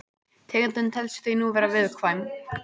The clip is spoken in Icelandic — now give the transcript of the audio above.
Tegundin telst því nú vera viðkvæm.